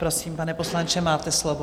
Prosím, pane poslanče, máte slovo.